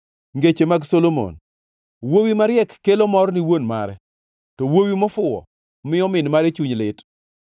Ngeche mag Solomon: Wuowi mariek kelo mor ni wuon mare, to wuowi mofuwo miyo min mare chuny lit.